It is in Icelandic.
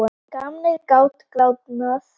Gamanið gat gránað.